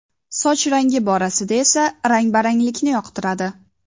Soch rangi borasida esa rang-baranglikni yoqtiradi.